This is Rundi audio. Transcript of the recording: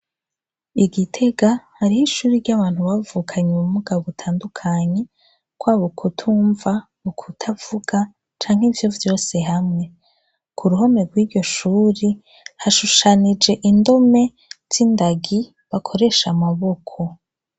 Igitega hariho ishuri ry'abantu bavukanyi mu mugabo utandukanye kwa b ukutumva ukutavuga canke ivyo vyose hamwe ku ruhome rw'iryo shuri hashushanije indome z'indagi bakoresha amaboko.